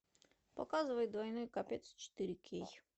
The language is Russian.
показывай двойной капец четыре кей